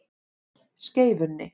Skeifunni